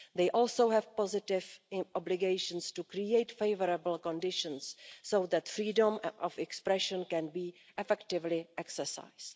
They also have positive obligations to create favourable conditions so that freedom of expression can be effectively exercised.